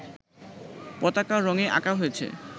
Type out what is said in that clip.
পতাকা রঙে আঁকা হয়েছে